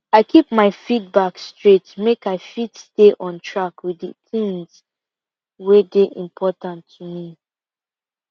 i keep my feedback straight make i fit stay on track with the things wey dey important to me